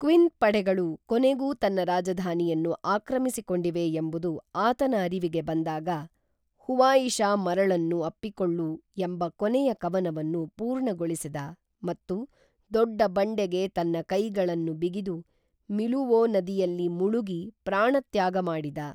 queen ಪಡೆಗಳು ಕೊನೆಗೂ ತನ್ನ ರಾಜಧಾನಿಯನ್ನು ಆಕ್ರಮಿಸಿಕೊಂಡಿವೆ ಎಂಬುದು ಆತನ ಅರಿವಿಗೆ ಬಂದಾಗ ಹುವಾಯಿಶಾ ಮರಳನ್ನು ಅಪ್ಪಿಕೊಳ್ಳು ಎಂಬ ಕೊನೆಯ ಕವನವನ್ನು ಪೂರ್ಣಗೊಳಿಸಿದ ಮತ್ತು ದೊಡ್ಡ ಬಂಡೆಗೆ ತನ್ನ ಕೈಗಳನ್ನು ಬಿಗಿದು ಮಿಲುವೋ ನದಿಯಲ್ಲಿ ಮುಳುಗಿ ಪ್ರಾಣತ್ಯಾಗ ಮಾಡಿದ